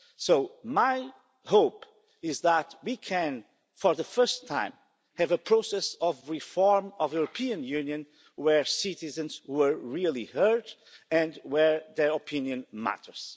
So, my hope is that we can, for the first time, have a process of reform of the European Union where citizens are really heard and where their opinion matters.